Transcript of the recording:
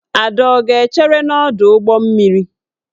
Ada ọ ga-echere n'ọdụ ụgbọ mmiri?